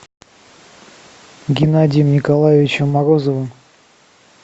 геннадием николаевичем морозовым